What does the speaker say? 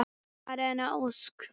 Maren Ósk.